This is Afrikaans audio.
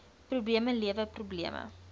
probleme lewer probleme